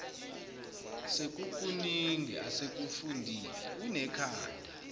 sekukuningi asekufundile unekhanda